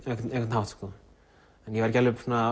hátt en ég var ekki